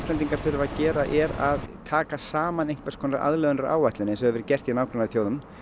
Íslendingar þurfa að gera er að taka saman einhvers konar aðlögunaráætlun eins og hefur verið gert í nágrannaþjóðum